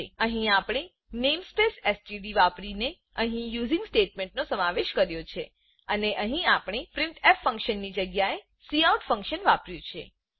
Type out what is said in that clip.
અહી આપણે namespace STD વાપરીને અહી યુઝિંગ સ્ટેટમેંટ નો સમાવેશ કર્યો છેઅને અહી આપણે પ્રિન્ટફ ફંક્શનની જગ્યા એ કાઉટ ફંક્શન વાપર્યું છે